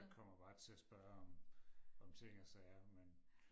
Jeg kommer bare til at spørge om ting og sager men